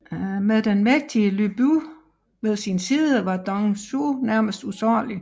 Med den mægtige Lü Bu ved sin side var Dong Zhuo nærmest usårlig